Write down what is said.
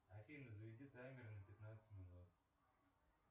афина заведи таймер на пятнадцать минут